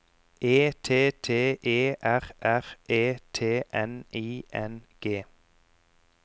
E T T E R R E T N I N G